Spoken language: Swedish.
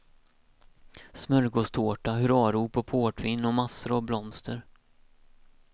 Smörgåstårta, hurrarop och portvin och massor av blomster.